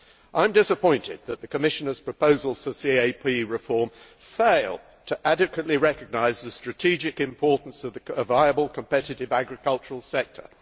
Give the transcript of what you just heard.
I am disappointed that the Commissioner's proposals for CAP reform fail to recognise adequately the strategic importance of a viable, competitive agricultural sector.